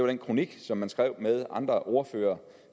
den kronik som man skrev med andre ordførere